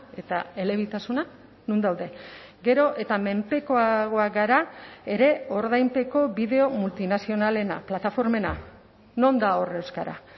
eta elebitasuna non daude gero eta menpekoagoak gara ere ordainpeko bideo multinazionalena plataformena non da hor euskara